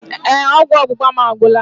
Ee, ọgwụ ọgbụgba mụ agwụla.